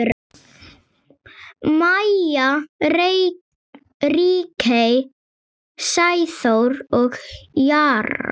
Maja, Ríkey, Sæþór og Jara.